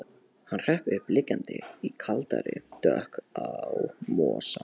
Hann hrökk upp, liggjandi í kaldri dögg á mosa.